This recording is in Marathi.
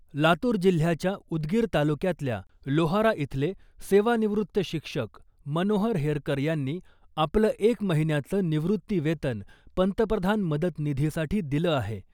लातूर जिल्ह्याच्या उदगीर तालुक्यातल्या लोहारा इथले सेवानिवृत्त शिक्षक मनोहर हेरकर यांनी आपलं एक महिन्याचं निवृत्ती वेतन पंतप्रधान मदत निधीसाठी दिलं आहे .